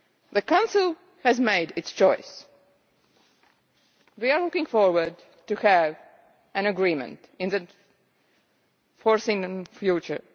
The Council has made its choice. We are looking forward to having an agreement in the foreseeable future.